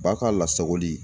Ba ka lasagoli.